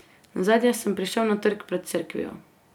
Nazadnje sem prišel na trg pred cerkvijo.